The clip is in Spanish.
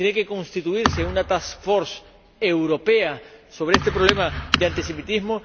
tiene que constituirse una task force europea sobre este problema de antisemitismo